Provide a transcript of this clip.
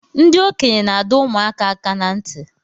Ndi okenye na-ado ụmụaka aka na nti